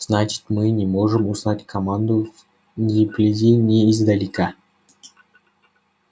значит мы не можем узнать команду ни вблизи ни издалека